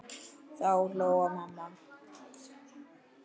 Þá hló mamma.